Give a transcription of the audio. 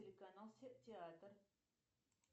телеканал театр